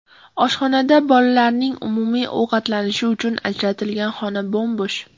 Oshxonada bolalarning umumiy ovqatlanishi uchun ajratilgan xona bo‘m-bo‘sh.